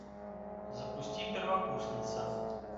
запусти первокурсница